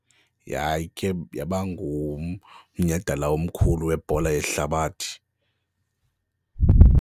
Yayikhe yaba ngumnyhadala omkhulu webhola yehlabathi.